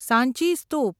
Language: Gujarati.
સાંચી સ્તૂપ